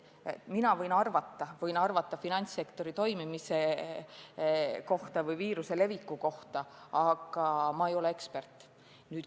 Mina võin finantssektori toimimise kohta või viiruse leviku kohta midagi arvata, aga ma ei ole ekspert.